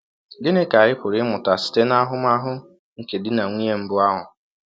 Gịnị ka anyị pụrụ ịmụta site n’ahụmahụ nke di na nwụnye mbụ ahụ??